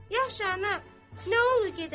Yaxşı ana, nə olur gedəndə?